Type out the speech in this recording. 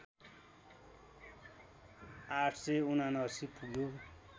८७९ पुग्यो